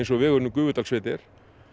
og vegurinn um Gufudalssveit er